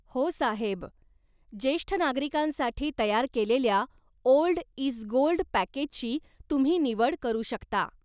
हो साहेब. जेष्ठ नागरिकांसाठी तयार केलेल्या 'ओल्ड इज गोल्ड' पॅकेजची तुम्ही निवड करू शकता.